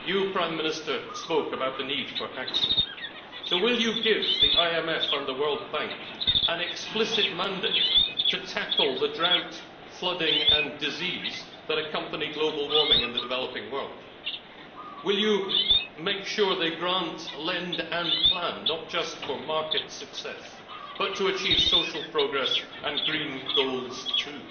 Prime Minister, you spoke about the need for action, so will you give the IMF and the World Bank an explicit mandate to tackle the drought, flooding and disease that accompany global warming in the developing world? Will you make sure they grant, lend and plan not just for market success, but to achieve social progress and green goals too?